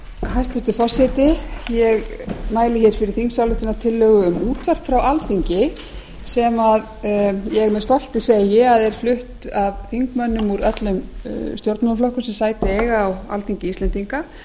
hæstvirtur forseti ég mæli fyrir þingsályktunartillögu um útvarp frá alþingi sem ég tel að sé flutt af þingmönnum úr öllum stjórnmálaflokkum sem sæti eiga á alþingi íslendinga